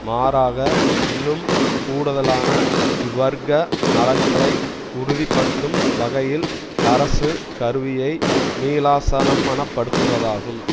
மாறாக இன்னும் கூடுதலான இவ்வர்க்க நலன்களை உறுதிபடுத்தும் வகையில் அரசு கருவியை மீளாசனம்மனபடுத்துவதாகும்